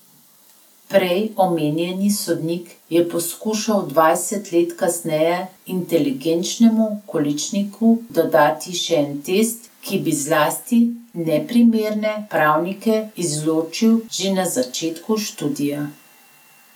Prej omenjeni sodnik je poskušal dvajset let kasneje inteligenčnemu količniku dodati še en test, ki bi zlasti neprimerne pravnike izločil že na začetku študija.